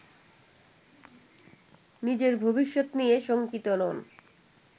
নিজের ভবিষ্যত নিয়ে শঙ্কিত নন